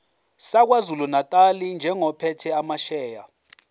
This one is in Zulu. sakwazulunatali njengophethe amasheya